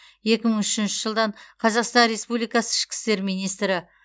екі мың үшінші жылдан қазақстан республикасы ішкі істер министрі